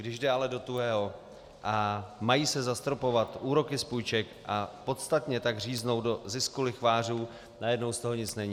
Když jde ale do tuhého a mají se zastropovat úroky z půjček a podstatně tak říznout do zisku lichvářů, najednou z toho nic není.